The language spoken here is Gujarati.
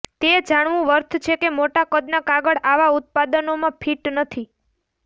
તે જાણવું વર્થ છે કે મોટા કદના કાગળ આવા ઉત્પાદનોમાં ફિટ નથી